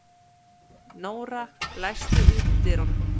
Nóra, læstu útidyrunum.